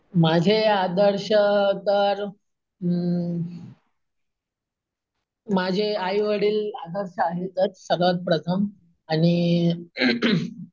माझे आदर्श तर अम माझे आई-वडील तर आदर्श आहेत सर्वात प्रथम तर आणि,